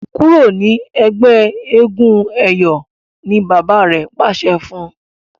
kúrò ní ègbé éégun eyọ! ní bàbá rẹ pàṣẹ fún.